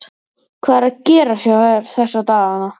Hvað er að gerast hjá þér þessa dagana?